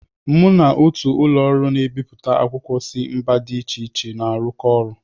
Mụ na otù ụlọ ọrụ na-ebipụta akwụkwọ si mba dị iche iche na-arụkọ ọrụ.